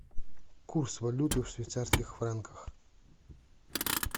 курс валюты в швейцарских франках